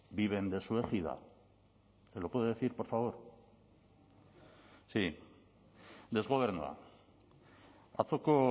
viven de su égida se lo puede decir por favor desgobernua atzoko